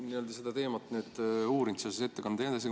Sa oled seda teemat uurinud seoses ettekandega.